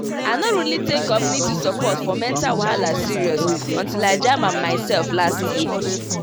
i no really take community support for mental wahala serious until i jam am myself last year.